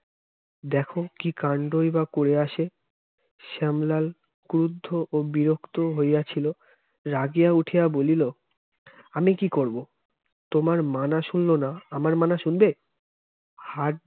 দেখো কি কান্ডই বা করে আসে শ্যামলাল ক্রদ্ধ ও বিরক্ত হইয়াছিল রাগিয়া উঠিয়া বলিল আমি কি করবো আর মানা শুনলো না আমার মানা শুনবে হাত